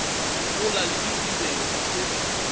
gola le ditirelo tsa go